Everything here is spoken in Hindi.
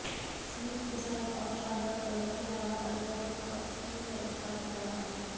स्लीक डिजायन और शानदार कलर के अलावा अल्ट्राबुक का स्क्रीन साइज काफी बड़ा है